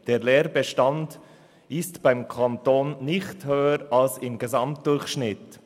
Der Leerbestand ist beim Kanton nicht höher als im Gesamtdurchschnitt.